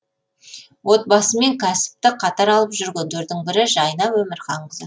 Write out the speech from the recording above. отбасы мен кәсіпті қатар алып жүргендердің бірі жайна өмірханқызы